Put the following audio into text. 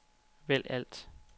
vælg alt